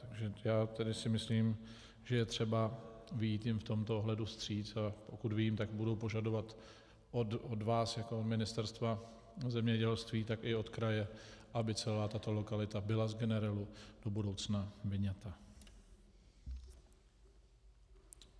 Takže já tedy si myslím, že je třeba vyjít jim v tomto ohledu vstříc, a pokud vím, tak budou požadovat od vás jako od Ministerstva zemědělství, tak i od kraje, aby celá tato lokalita byla z generelu do budoucna vyňata.